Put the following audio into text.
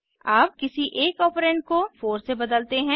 अब किसी एक ऑपरेंड को 4 से बदलते हैं